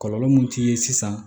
Kɔlɔlɔ mun t'i ye sisan